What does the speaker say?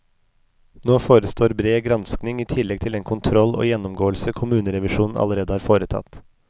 Nå forestår bred granskning i tillegg til den kontroll og gjennomgåelse kommunerevisjonen allerede har foretatt.